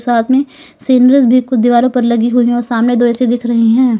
साथ मे सीनरीज भी कुछ दीवारों पे लगी हुई और सामने दो ए_सी दिख रही हैं।